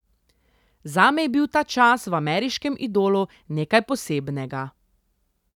Zame je bil ta čas v Ameriškem idolu nekaj posebnega.